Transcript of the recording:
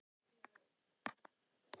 Systurnar hafa náð sáttum eftir tvö ár.